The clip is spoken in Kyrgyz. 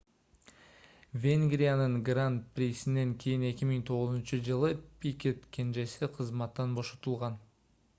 венгриянын гран-присинен кийин 2009-ж пикет кенжеси кызматтан бошотулган